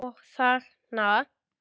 Og þarna?